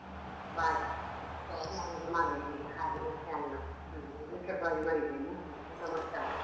ಬಾಜಿ ಈಗ ಮಾಡ್ಬೇಕೀಗ ಹಾಗೆ ಮತ್ತೆ ಅನ್ನ. ಹ್ಮ್ ಬೀಟ್ರೋಟ್ ಬಾಜಿ ಮಾಡಿದ್ದೇನೆ ಮತ್ತೆ ಟೊಮೇಟ್ ಸಾರ್.